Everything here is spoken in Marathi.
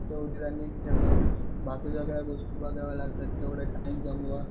तेवढं रनिंग ठेवा बाकीच्या गोष्टी लागतात तेवढा टाइम